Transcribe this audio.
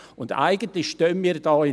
In diesem Versprechen stehen wir nun: